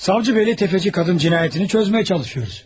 Savcı bəy, təfəçi qadın cinayətini çözməyə çalışıyoruz.